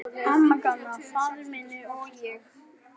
Amma, Gamli faðir minn, og ég.